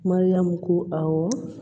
Mariyamu ko awɔ